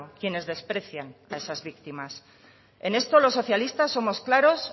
quienes desprecian a esas víctimas en esto los socialistas somos claros